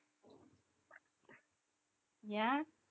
ஏன்